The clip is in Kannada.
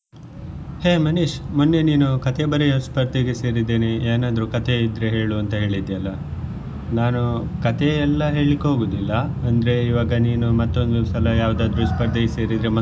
ಹೇ ಮನೀಷ್ ಮೊನ್ನೆ ನೀನು ಕಥೆ ಬರಿಯೋ ಸ್ಪರ್ಧೆಗೆ ಸೇರಿದ್ದೇನೆ ಏನಾದ್ರೂ ಕಥೆ ಇದ್ರೆ ಹೇಳು ಅಂತ ಹೇಳಿದ್ಯಲ್ಲ ನಾನು ಕಥೆಯೆಲ್ಲಾ ಹೇಳ್ಲಿಕೆ ಹೋಗುದಿಲ್ಲ ಅಂದ್ರೆ ಇವಾಗ ನೀನು ಮತ್ತೊಂದು ಸಲ ಯಾವ್ದಾದ್ರು ಸ್ಪರ್ಧೆಗೆ ಸೇರಿದ್ರೆ ಮತ್ತೊಂದು.